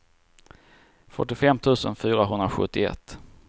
fyrtiofem tusen fyrahundrasjuttioett